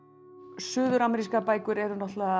suður amerískar bækur eru náttúrulega